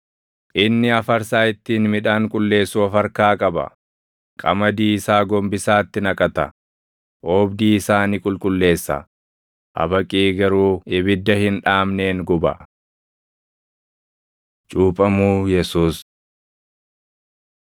Inni afarsaa ittiin midhaan qulleessu of harkaa qaba; qamadii isaa gombisaatti naqata; oobdii isaa ni qulqulleessa; habaqii garuu ibidda hin dhaamneen guba.” Cuuphamuu Yesuus 3:13‑17 kwf – Mar 1:9‑11; Luq 3:21,22; Yoh 1:31‑34